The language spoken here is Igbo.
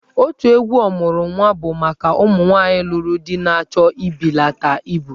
Otù egwu 'Ọmuru Nwa' bụ maka ụmụ nwaanyị lụrụ di na-achọ ịbelata ibu.